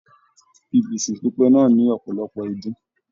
Ibùsùn pipẹ náà ní ọpọlọpọ idún.